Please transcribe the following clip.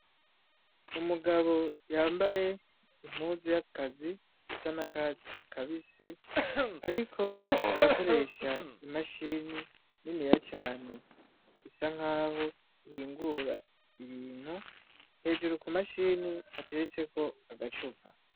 Umugabo yambaye impuzu y'akazi isa na katsi kabise, ariko arakoresha imashini nini ya cane isa nk'aho iyingura ibintu hejuru ku mashini hateretseko agacupa.